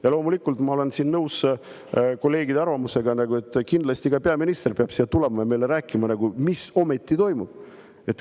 Ja loomulikult ma olen nõus kolleegide arvamusega, et kindlasti ka peaminister peab siia tulema ja meile rääkima, mis ometi toimub.